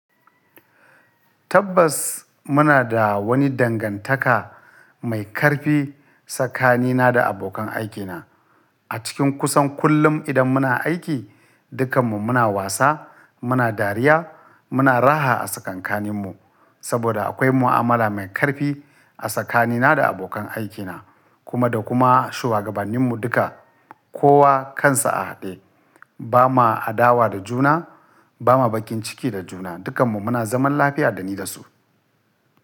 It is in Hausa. Tabbas muna da wani dangantaka mai karfi tsakanina da abokan aikina. A cikin kusan kullum idan muna aiki, dukkanmu muna wasa, muna dariya, muna raha a tsakankaninmu saboda akwai mu'amala mai karfi a tsakanina da abokan aikina, kuma da kuma shugabanninmu duka, kowa kansa a haɗe. Ba ma adawa da juna, ba ma bakin ciki da juna, dukkanmu muna zaman lafiya dani da su.